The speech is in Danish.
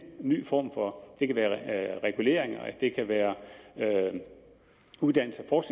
nye former det kan være reguleringer det kan være uddannelses og